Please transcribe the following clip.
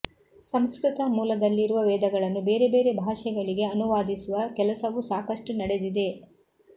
ಸಂಸ್ಕೃತ ಮೂಲದಲ್ಲಿರುವ ವೇದಗಳನ್ನು ಬೇರೆ ಬೇರೆ ಭಾಷೆಗಳಿಗೆ ಅನುವಾದಿಸುವ ಕೆಲಸವೂ ಸಾಕಷ್ಟು ನಡೆದಿದೆ